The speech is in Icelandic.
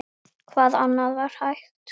Hvað annað var hægt?